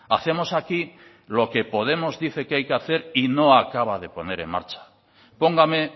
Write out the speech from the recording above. hacemos aquí lo que podemos dice que hay que hacer y no acaba de poner en marcha póngame